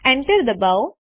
Enter દબાવો